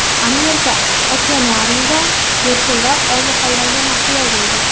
Amerika okeanariumida delfinlar olmaxonlarga mahliyo bo‘ldi .